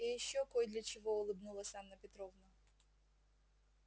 и ещё кой для чего улыбнулась анна петровна